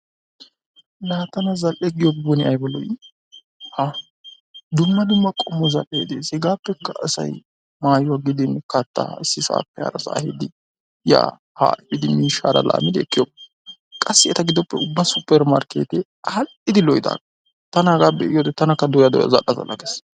La tanna zal'ee giyobi aybaa loo'i ha dumma dumma qommo zal'ee dees hegapekka asaay mayuwa gidin kattaa issi sappe hara saa ya haa idimmiddi mishaa lamidi ekiyobaa, qassi ettaa gidoppe ubba super markette arhiddi lo'idaga tana haga be'iyowode tanaka doya zaal'a gees.